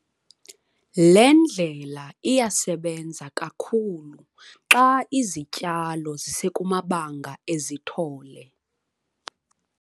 Le ndlela iyasebenza kakhulu xa izityalo zisekumabanga ezithole.